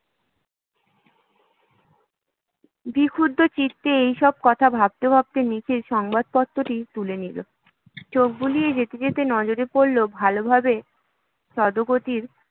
বিক্ষুব্ধ চিত্তে এইসব কথা ভাবতে ভাবতে নিখিল সংবাদপত্রটি তুলে নিল চোখ বুলিয়ে যেতে যেতে নজরে পড়ল, ভালোভাবে